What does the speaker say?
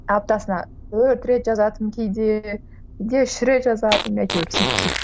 аптасына төрт рет жазатынмын кейде үш рет жазатынмын әйтеуір сөйтіп сөйтіп